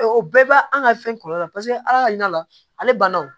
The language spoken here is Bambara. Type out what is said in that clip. O bɛɛ b'a an ka fɛn kɔlɔlɔ la paseke ala ka yira la ale banna o